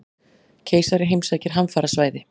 Keisari heimsækir hamfarasvæði